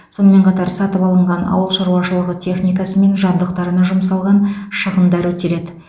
сонымен қатар сатып алынған ауыл шаруашылығы техникасы мен жабдықтарына жұмсалған шығындар өтеледі